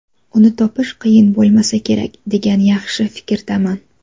Uni topish qiyin bo‘lmasa kerak, degan yaxshi fikrdaman.